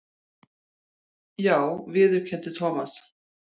Já viðurkenndi Thomas.